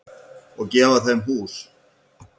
Og gefa þeim hús.